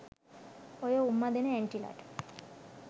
ඔය උම්ම දෙන ඇන්ටිලට